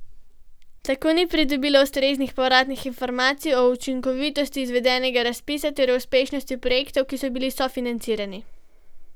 Tako ni pridobilo ustreznih povratnih informacij o učinkovitosti izvedenega razpisa ter o uspešnosti projektov, ki so bili sofinancirani.